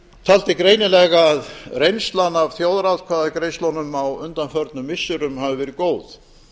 taldi greinilega að reynslan af þjóðaratkvæðagreiðslunum á undanförnum missirum hafi verið góð